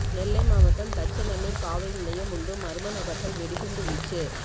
நெல்லை மாவட்டம் தச்சநல்லூர் காவல் நிலையம் முன்பு மர்ம நபர்கள் வெடிகுண்டு வீச்சு